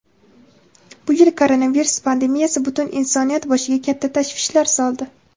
Bu yil koronavirus pandemiyasi butun insoniyat boshiga katta tashvishlar soldi.